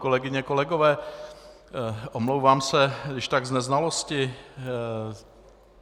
Kolegyně, kolegové, omlouvám se když tak z neznalosti.